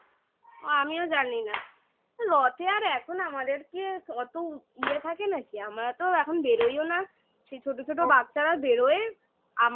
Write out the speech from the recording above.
ও আমিও জানি না রথে আর এখন আমাদেরকে অত ইয়ে থাকে নাকি? আমরা তো এখন বেরোইও না ছোট ছোট বাচ্চারা বেরোয় আমাদের